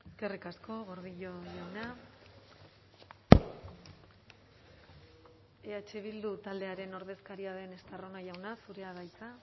eskerrik asko gordillo jauna eh bildu taldearen ordezkaria den estarrona jauna zurea da hitza